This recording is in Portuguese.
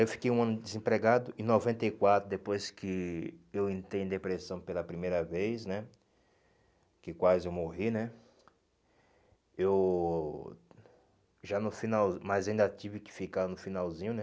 Eu fiquei um ano desempregado, em noventa e quatro, depois que eu entrei em depressão pela primeira vez, né, que quase eu morri, né, eu já no final, mas ainda tive que ficar no finalzinho, né,